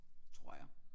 Tror jeg